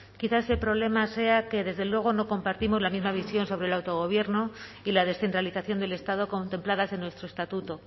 quizás ese problema sea que desde luego no compartimos la misma visión sobre el autogobierno y la descentralización del estado contempladas en nuestro estatuto